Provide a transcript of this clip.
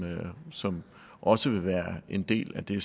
som også vil være en del af det